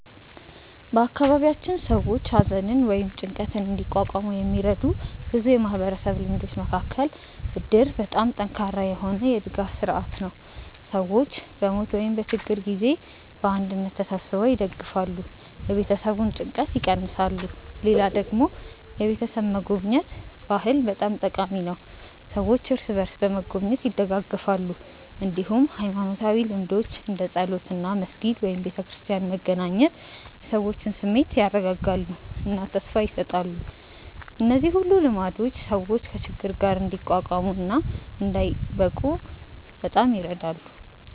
በአካባቢያችን ሰዎች ሐዘንን ወይም ጭንቀትን እንዲቋቋሙ የሚረዱ ብዙ የማህበረሰብ ልማዶች መካከል እድር በጣም ጠንካራ የሆነ የድጋፍ ስርዓት ነው፤ ሰዎች በሞት ወይም በችግር ጊዜ በአንድነት ተሰብስበው ይደግፋሉ፣ የቤተሰቡን ጭንቀት ይቀንሳሉ። ሌላ ደግሞ የቤተሰብ መጎብኘት ባህል በጣም ጠቃሚ ነው፤ ሰዎች እርስ በርስ በመጎብኘት ይደጋገፋሉ። እንዲሁም ሃይማኖታዊ ልምዶች እንደ ጸሎት እና መስጊድ/ቤተክርስቲያን መገናኘት የሰዎችን ስሜት ያረጋጋሉ እና ተስፋ ይሰጣሉ። እነዚህ ሁሉ ልማዶች ሰዎች ከችግር ጋር እንዲቋቋሙ እና እንዳይብቁ በጣም ይረዳሉ።